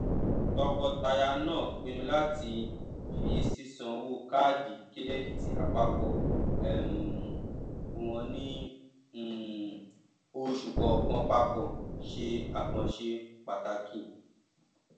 tọkọtaya náà pinnu láti fi sísán owó kaadi kírẹdítì apapọ um wọn ní um oṣù kọọkan papọ ṣe àkànṣe pàtàkì